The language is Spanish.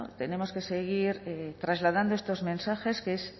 tenemos que seguir trasladando estos mensajes que es